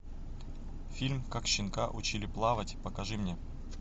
фильм как щенка учили плавать покажи мне